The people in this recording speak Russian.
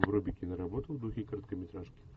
вруби киноработу в духе короткометражки